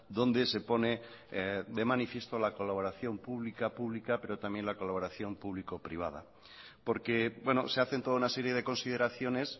donde se pone de manifiesto la colaboración pública pública pero también la colaboración público privada porque se hacen toda una serie de consideraciones